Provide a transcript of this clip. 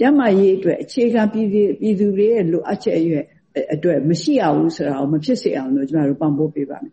ကျန်းမာရေးအတွက် အခြေခံပြည်သူတွေရဲ့လိုအပ်ချက်အတွက် မရှိရဘူးဆိုတာမဖြစ်စေအောင် ကျမတို့ပံ့ပိုးပေးပါ့မယ်